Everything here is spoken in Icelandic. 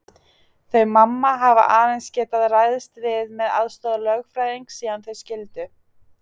Þau mamma hafa aðeins getað ræðst við með aðstoð lögfræðings síðan þau skildu.